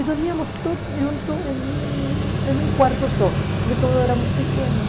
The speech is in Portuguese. E dormíamos todos juntos em um em um quarto só, porque todos éramos pequenos.